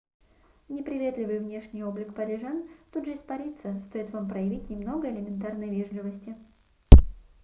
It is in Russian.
неприветливый внешний облик парижан тут же испарится стоит вам проявить немного элементарной вежливости